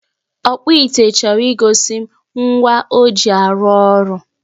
ọkpụ ite chọrọ igosi m ngwa o ji arụ ọrụ